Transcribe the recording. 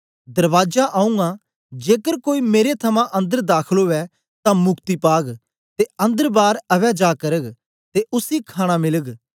दरबाजा आऊँ आं जेकर कोई मेरे थमां अन्दर दाखल उवै तां मुक्ति पाग ते अन्दर बार अवैजा करग ते उसी खाणा मिलग